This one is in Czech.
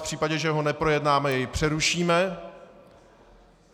V případě, že ho neprojednáme, jej přerušíme.